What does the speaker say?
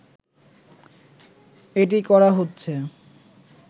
এটি করা হচ্ছে